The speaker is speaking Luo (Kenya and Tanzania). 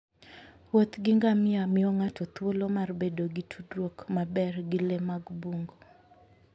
Wuoth gi ngamia miyo ng'ato thuolo mar bedo gi tudruok maber gi le mag bungu.